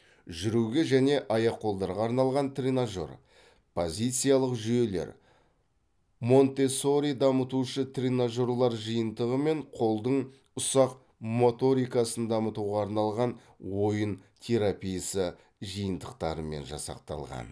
жүруге және аяқ қолдарға арналған тренажер позициялық жүйелер монтессори дамытушы тренажерлар жиынтығы мен қолдың ұсақ моторикасын дамытуға арналған ойын терапиясы жиынтықтарымен жасақталған